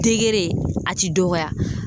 Degere a ti dɔgɔya